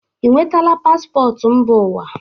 i nwetaala pạasọtụ mba ụwa?